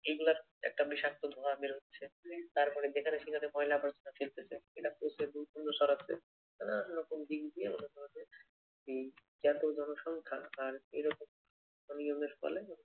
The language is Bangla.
এইগুলার একটা বিষাক্ত ধোঁয়া বের হচ্ছে। তারপরে যেখানে সেখানে ময়লা আবর্জনা ফেলতেছে। এটা হচ্ছে গুরুত্বপূর্ণ সড়কে নানা রকম দিক দিয়ে মনে কর যে উম এত জনসংখ্যা আর এইরকম অনিয়মের ফলে